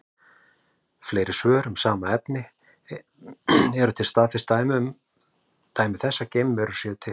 Fleiri svör um sama efni: Eru til staðfest dæmi þess að geimverur séu til?